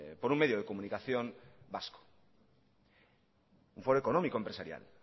por un medio de comunicación vasco un foro económico empresarial